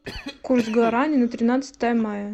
курс гуарани на тринадцатое мая